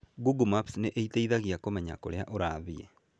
Google Maps nĩ ĩteithagia kũmenya kũrĩa ũrathiĩ.